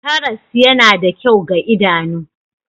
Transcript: Karas yana da kyau ga idanu